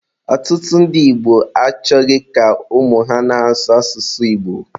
Ọtụtụ ndị Igbo achọghị ka ụmụ ha na-asụ asụsụ Igbo.